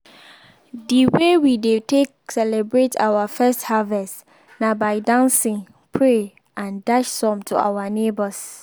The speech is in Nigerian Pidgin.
de way we dey take celebrate our first harvest na by dancing pray and dash some to our neighbors